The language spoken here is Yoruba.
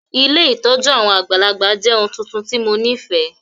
Ilé ìtójú àwon àgbàlagbà jẹ oun tuntun ti mo nifẹ.